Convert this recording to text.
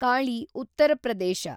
Kali , Uttar Pradesh